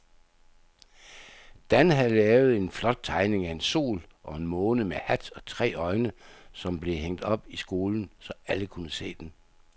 Dan havde lavet en flot tegning af en sol og en måne med hat og tre øjne, som blev hængt op i skolen, så alle kunne se den.